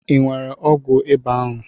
I nwere ọgwụ ebe ahụ?